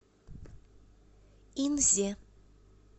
инзе